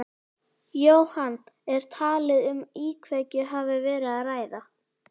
Jóhann, er talið að um íkveikju hafi verið að ræða?